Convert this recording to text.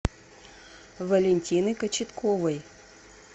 валентины кочетковой